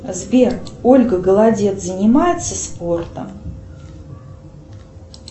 сбер ольга голодец занимается спортом